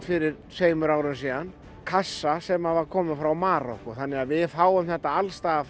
fyrir tveimur árum síðan kassa sem að var kominn frá Marokkó þannig að við fáum þetta alls staðar